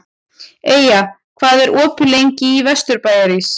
Eyja, hvað er opið lengi í Vesturbæjarís?